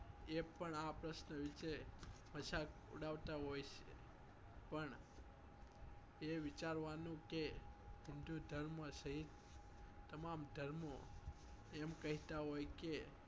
એ પણ આં પ્રશ્ન વિષે મજાક ઉડાવતા હોય છ પણ પણએ વિચારવા નું કે હિન્દુધર્મ સહીત તમામ ધર્મો એમ કહેત્તા હોય કે